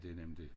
Det nemlig det